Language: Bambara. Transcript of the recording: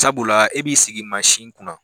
Sabula e b'i sigi kunna.